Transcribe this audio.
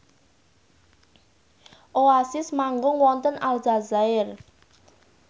Oasis manggung wonten Aljazair